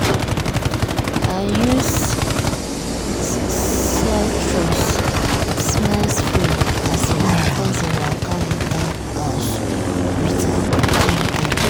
i use citrus-smell spray as my cousin waka enter house with her pikin them.